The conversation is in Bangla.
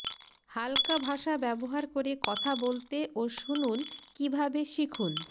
হাল্কা ভাষা ব্যবহার করে কথা বলতে ও শুনুন কিভাবে শিখুন